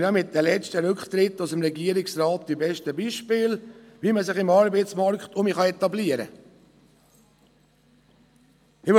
Die letzten Rücktritte aus dem Regierungsrat sind denn auch die besten Beispiele dafür, wie man sich wieder im Arbeitsmarkt etablieren kann.